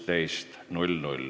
Istungi lõpp kell 12.49.